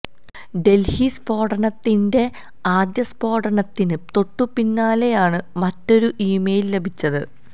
ഡൽഹി സ്ഫോടനത്തിന്റെ ആദ്യ സ്ഫോടനത്തിന് തൊട്ടുപിന്നാലെയാണ് മറ്റൊരു ഇമെയിൽ ലഭിച്ചത്